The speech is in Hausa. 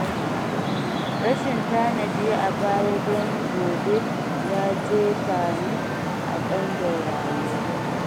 Rashin tanadi a baya don gobe ya jefa ni a ƙangin rayuwa.